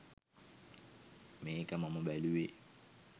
මේක මම බැලුවේ